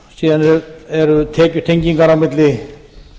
síðan eru tekjutengingar á milli